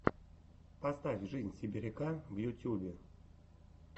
поставь жизнь сибиряка в ютьюбе